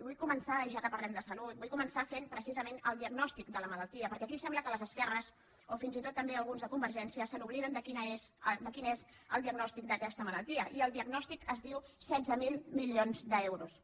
i vull començar ja que parlem de salut vull començar fent precisament el diagnòstic de la malaltia perquè aquí sembla que les esquerres o fins i tot també alguns de convergència s’obliden de quin és el diagnòstic d’aquesta malaltia i el diagnòstic es diu setze mil milions d’euros